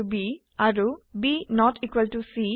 C and C